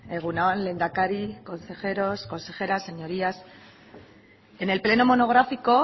egun on lehendakari consejeros consejeras señorías en el pleno monográfico